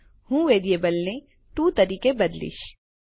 હું વેરીએબલને ટીઓ તરીકે બદલીશ